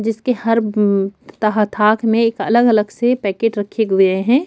जिसके हर तहतक में एक अलग-अलग से पैकेट रखे हुए है।